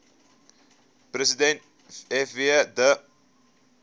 president fw de